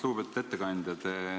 Lugupeetud ettekandja!